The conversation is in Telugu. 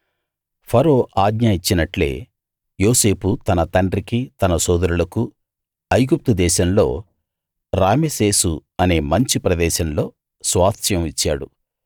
ఫరో ఆజ్ఞ ఇచ్చినట్లే యోసేపు తన తండ్రికీ తన సోదరులకూ ఐగుప్తు దేశంలో రామెసేసు అనే మంచి ప్రదేశంలో స్వాస్థ్యం ఇచ్చాడు